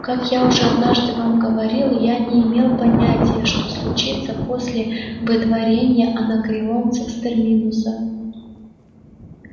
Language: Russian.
как я уже однажды вам говорил я не имел понятия что случится после выдворения анакреонцев с терминуса